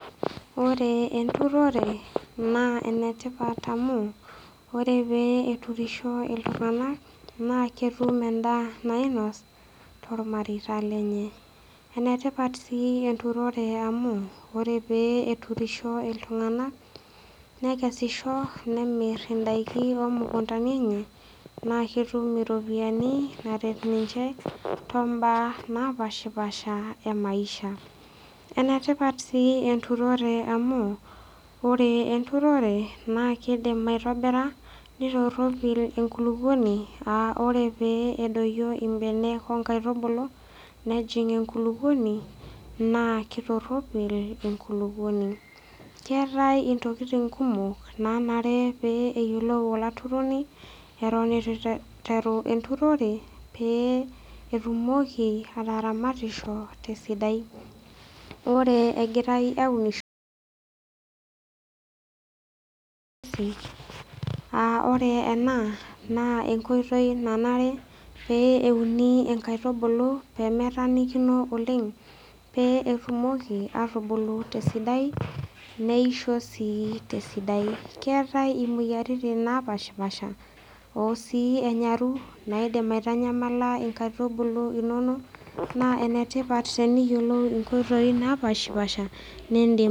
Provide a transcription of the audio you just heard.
Ore enturore na enetipat amu ore peturisho ltunganak na ketumbendaa nainos tormareita lenye enetipat si enturore amu ore peturisho ltunganak nekesisho nemir ndakini imukundani enye naketum iropiyiani naret ninche tomba napaasha emaisha enetipat si enturore amu ore enturore na kidim aitobira nitoropil enkulukuoni a ore pedoyu mbenek nejing enkulukuoni na kitoropil enkulukuoni keetai ntokitin kumok nayie neyiolo olaturoni eton itu iteru enturore peetumoki ataramatisho tesidai ore egirai aunisho aa ore ena na enkoitoi nanare peuni nkaitubulu pemetaanikino oleng petumoki atubulu tesidai neisho na tesidai keetai imoyiaritin napashipasha naidim aitanyamala nkaitubulu inonok na enetipat teneyiolou nkoitoi napashipaasha nindim.